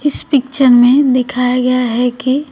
इस पिक्चर में दिखाया गया है कि--